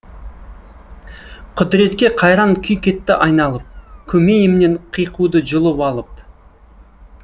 құдіретке қайран күй кетті айналып көмейімнен қиқуды жұлып алып